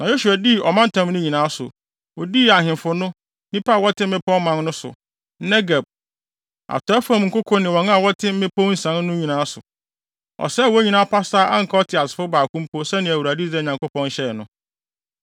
Na Yosua dii ɔmantam no nyinaa so. Odii ahemfo no, nnipa a wɔte mmepɔw man no so, Negeb, atɔe fam nkoko ne wɔn a wɔte mmepɔw nsian so no nyinaa so. Ɔsɛee wɔn nyinaa pasaa a anka ɔteasefo baako mpo sɛnea Awurade, Israel Nyankopɔn, hyɛe no.